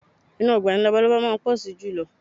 Inú ọgbà ni labalábá máa ń pọ̀ sí jùlọ